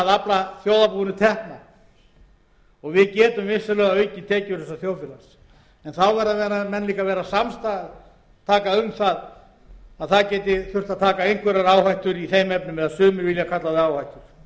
afla þjóðarbúinu tekna og við getum vissulega aukið tekjur þessa þjóðfélags en þá verða menn líka að vera samtaka um að það geti þurft að taka einhverja áhættu í þeim efnum eða sumir vilja kalla það áhættu ég